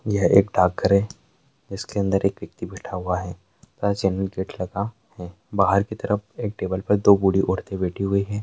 यह एक डॉकघर है जिसके अंदर एक व्यक्ति बैठा हुआ है तथा चैनल गेट लगा हुआ है बाहर की तरफ टेबल पर दो बूढ़ी औरतें बैठी हुई है।